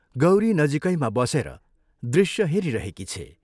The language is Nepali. गौरी नजीकैमा बसेर दृश्य हेरिरहेकी छे।